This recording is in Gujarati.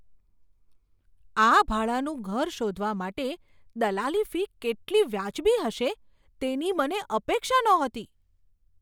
આ ભાડાનું ઘર શોધવા માટે દલાલી ફી કેટલી વાજબી હશે, તેની મને અપેક્ષા નહોતી!